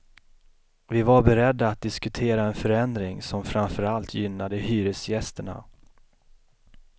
Vi var beredda att diskutera en förändring som framför allt gynnade hyresgästerna.